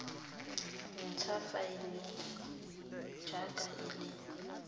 ntsha faene jaaka e le